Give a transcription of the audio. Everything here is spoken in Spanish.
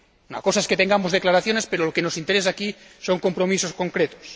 Una cosa es que tengamos declaraciones, pero lo que nos interesa aquí son compromisos concretos.